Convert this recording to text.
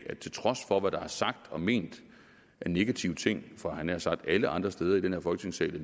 til trods for hvad der er sagt og ment af negative ting fra havde jeg nær sagt alle andre steder i den her folketingssal